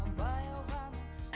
баяу ғана